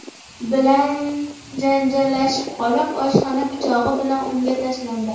bilan janjallashib qolib, oshxona pichog‘i bilan unga tashlandi.